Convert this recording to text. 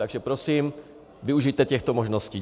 Takže prosím, využijte těchto možností.